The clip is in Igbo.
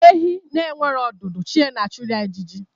Ehi na-enweghị ọdụ chi ya na- achụrụ ya ịjiji